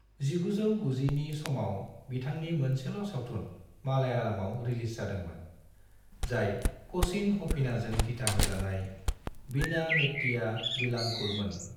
1990 नि समाव बिथांनि मोनसेल' सावथुन मालयालमाव रिलिज जादोंमोन, जाय क'चिन हनीफाजों दिथाहोजानाय 'वीणा मेत्तिया विलांगुकल'मोन।